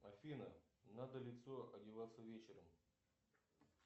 афина надо лицо одеваться вечером